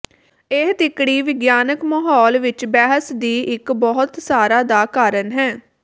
ਇਹ ਤਿੱਕੜੀ ਵਿਗਿਆਨਕ ਮਾਹੌਲ ਵਿਚ ਬਹਿਸ ਦੀ ਇੱਕ ਬਹੁਤ ਸਾਰਾ ਦਾ ਕਾਰਨ ਹੈ